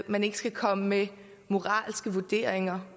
man ikke skal komme med moralske vurderinger